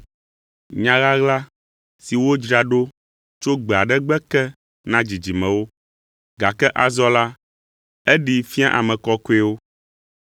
nya ɣaɣla si wodzra ɖo tso gbe aɖe gbe ke na dzidzimewo, gake azɔ la, eɖee fia ame kɔkɔewo.